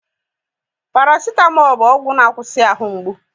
Paracetamol bu ọgwụ na akwusi ahụ mgbu